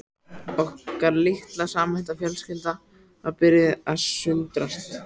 Okkar litla og samhenta fjölskylda var að byrja að sundrast